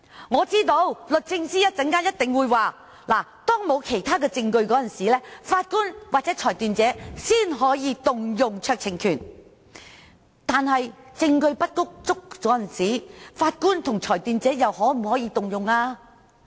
我知道律政司一定會說，只有在當沒有其他證供的情況下，法官或裁斷者才可行使酌情權，但在證據不足的情況下，法官和裁斷者又可否行使酌情權呢？